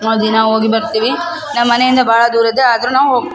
ನಾವ್ ದಿನ ಹೋಗಿ ಬರ್ತೀವಿ ನಮ್ಮ್ ಮನೆಯಿಂದ ಭಾಳ ದೂರದ ಆದ್ರೂ ನಾವ್ ಹೋಗ್ --